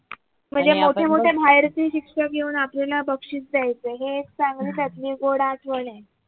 म्हणजे मोठे मोठे बाहेरचे शिक्षक येऊन आपल्याला बक्षीस द्यायचे हे एक चांगली त्यातली गोड आठवण आहे